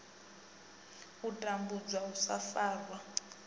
u tambudzwa u sa farwa